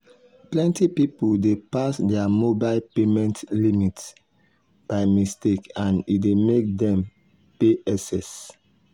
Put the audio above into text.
plenty people dey pass their mobile payment limit by mistake and e dey make dem pay excess